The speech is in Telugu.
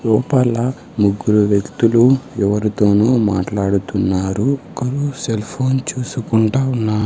లోపల ముగ్గురు వ్యక్తులు ఎవరితోనో మాట్లాడుతున్నారు ఒకరు సెల్ ఫోన్ చూసుకుంటా ఉన్నా--